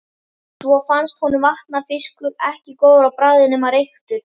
Svo fannst honum vatnafiskur ekki góður á bragðið nema reyktur.